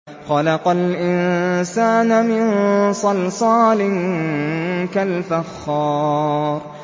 خَلَقَ الْإِنسَانَ مِن صَلْصَالٍ كَالْفَخَّارِ